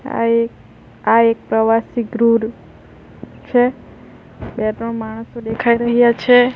આ એક આ એક પ્રવાસી ગૃહ છે બે ત્રણ માણસો દેખાઈ રહ્યા છે.